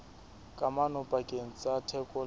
kamano pakeng tsa theko le